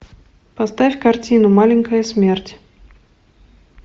поставь картину маленькая смерть